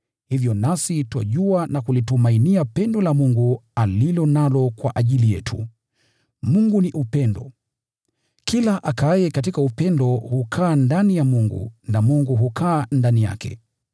Hivyo nasi twajua na kulitumainia pendo la Mungu alilo nalo kwa ajili yetu. Mungu ni Upendo. Kila akaaye katika upendo hukaa ndani ya Mungu na Mungu hukaa ndani yake.